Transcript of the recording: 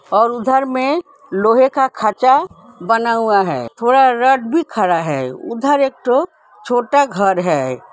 और उधर में लोहे का खाचा बना हुआ हैथोड़ा रोड भी भी खड़ा हैउधर एक ठो छोटा घर है |